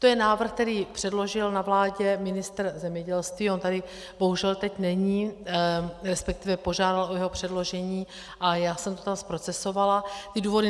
To je návrh, který předložil na vládě ministr zemědělství, on tady bohužel teď není, respektive požádal o jeho předložení a já jsem to tam zprocesovala, ty důvody.